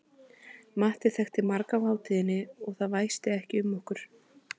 Matti þekkti marga á hátíðinni og það væsti ekki um okkur.